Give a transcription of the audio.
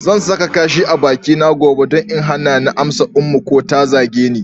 Zan sa kashi a bakina gobe don in hana ni amsa Ummu ko da ta zage ni.